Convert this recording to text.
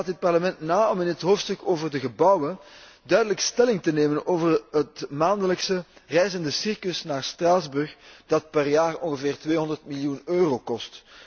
Anderzijds laat dit Parlement na om in het hoofdstuk over de gebouwen duidelijk stelling te nemen over het maandelijks reizende circus naar Straatsburg, dat per jaar ongeveer 200 miljoen euro kost.